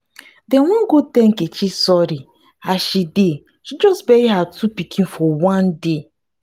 dem wan go tell nkechi sorry as she as she just bury her two pikin for one day.